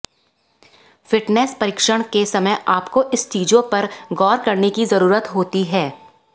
fitness परीक्षण के समय आपको इस चीजों पर गौर करने की जरूरत होती है